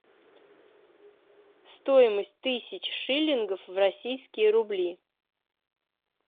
стоимость тысяч шиллингов в российские рубли